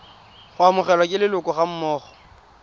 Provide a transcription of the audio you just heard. go amogelwa ke leloko gammogo